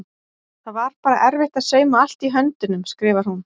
Það var bara erfitt að sauma allt í höndunum skrifar hún.